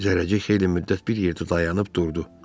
Zərrəcik xeyli müddət bir yerdə dayanıb durdu.